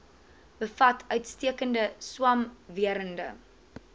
bevat uitstekende swamwerende